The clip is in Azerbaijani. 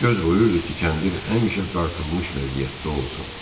Göz qoyurdu ki, kəndir həmişə dartılmış vəziyyətdə olsun.